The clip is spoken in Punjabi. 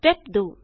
ਸਟੇਪ 2